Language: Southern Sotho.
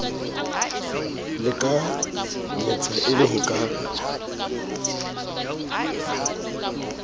lekanyetsa e le ho ka